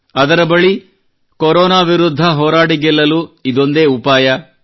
ಅದರ ಬಳಿ ಕೊರೊನಾ ವಿರುದ್ಧ ಹೋರಾಡಿ ಗೆಲ್ಲಲು ಇದೊಂದೇ ಉಪಾಯವಿದೆ